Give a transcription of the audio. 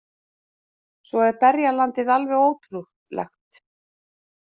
Svo er berjalandið alveg ótrúlegt